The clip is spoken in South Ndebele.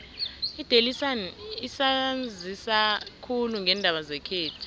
idaily sun isanzisa khulu ngeendaba zekhethu